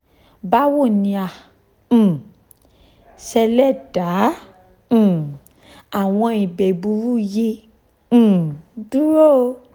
bawo ni a um ṣe le da um awọn igbe gbuuru yi um duro?